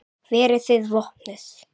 Verðið þið vopnuð?